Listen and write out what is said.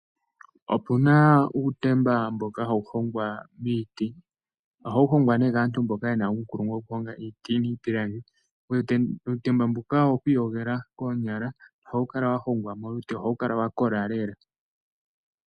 Opu na uutemba mboka hawu hongwa miiti. Ohawu hongwa nee kaantu mboka ye na uunkulungu wokuhonga iiti niipilangi. Uutemba mbuka owo ku iyogela koonyala. Ohawu kala wa hongwa molute, ohawu kala wa kola lela.